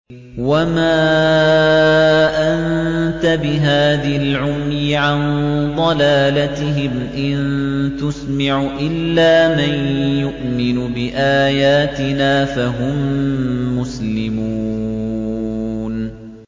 وَمَا أَنتَ بِهَادِ الْعُمْيِ عَن ضَلَالَتِهِمْ ۖ إِن تُسْمِعُ إِلَّا مَن يُؤْمِنُ بِآيَاتِنَا فَهُم مُّسْلِمُونَ